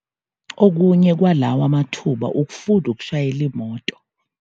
Okunye kwalawa mathuba ukufunda ukushayela imoto.